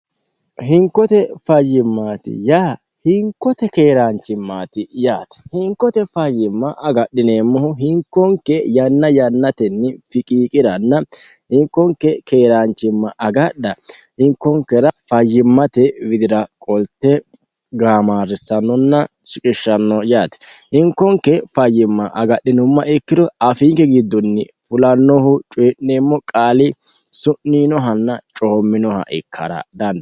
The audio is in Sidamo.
hinkote fayyimmaati yaa hinkote keeraanchimmaati yaate hinkote fayyimma agadhineemmohu hinkonke yanna yannatenni fiqiiqiranna hinkonke keeraanchimma agadha hinkonkera fayyimmate widira qolte gaamaarrissannonna siqishshanno yaate hinkonke fayyimma agadhinumma ikkiro afiinke giddunni fulannohu cuyi'neemmo qaali su'niinohanna coomminoha ikkara dandaanno.